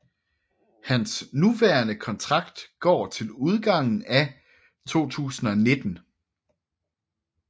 Hans nuværende kontrakt går til udgangen af 2019